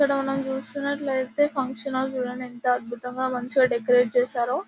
ఇక్కడ మనం చూసినట్లయితే ఫంక్షన్ హాల్ చూడండి. ఎంత అద్భుతంగా మంచిగ డెకరేట్ చేశారో.